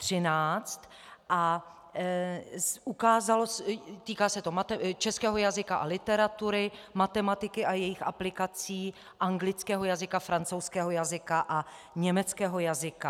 Týká se to českého jazyka a literatury, matematiky a jejích aplikací, anglického jazyka, francouzského jazyka a německého jazyka.